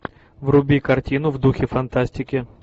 вруби картину в духе фантастики